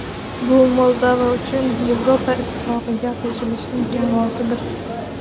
Bu Moldova uchun Yevropa Ittifoqiga qo‘shilish imkoniyatidir.